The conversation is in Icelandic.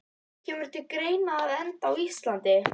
Kemur til greina að enda á Íslandi?